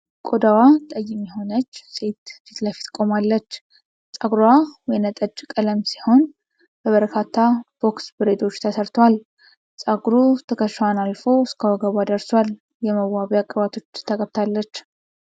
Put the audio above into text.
ቆዳዋ ጠይም የሆነች ሴት ፊት ለፊት ቆማለች። ፀጉሯ ወይን ጠጅ ቀለም ሲሆን በበርካታ ቦክስ ብሬዶች ተሰርቷል። ፀጉሩ ትከሻዋን አልፎ እስከ ወገቧ ደርሷል። የመዋቢያ ቅባቶች ተቀብታለች።